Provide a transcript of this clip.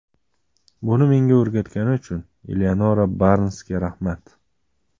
Buni menga o‘rgatgani uchun Eleonora Barnsga rahmat”.